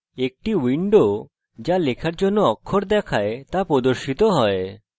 একটি window যা লেখার জন্য অক্ষর দেখায় তা প্রদর্শিত হয়